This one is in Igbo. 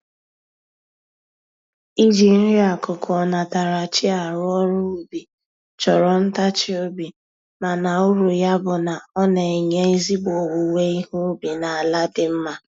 Iji nri-akụkụ onatarachi arụ ọrụ ubi, chọrọ ntachi obi mana uru ya bụ na, ọ na-enye ezigbo owuwe ihe ubi na ala dị mma.